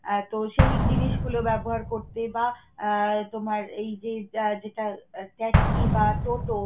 আহ তো সেই জিনিসগুলো ব্যবহার করতে বা আহ তোমার এই যে যেটা taxi বা toto